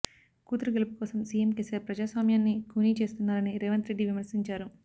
కూతురు గెలుపు కోసం సీఎం కేసీఆర్ ప్రజాస్వామ్యాన్ని ఖూనీ చేస్తున్నారని రేవంత్రెడ్డి విమర్శించారు